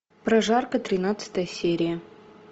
прожарка тринадцатая серия